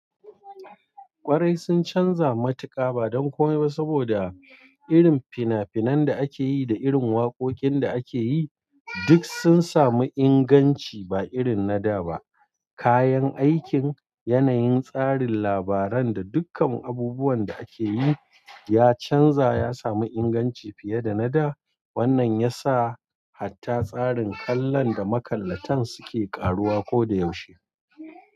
Ƙwarai sun canza matuka ba don komai ba saboda irin finafinan da ake yi da irin waƙoƙin da ake yi duk sun sami inganci ba irin na da ba. Kayan aikin, yanayin tsarin labaran da dukkan abubuwan da ake yi ya canza ya sami inganci fiye da na da. Wannan ya sa hatta tsarin kallon da makallatan suke ƙaruwa ko da yaushe.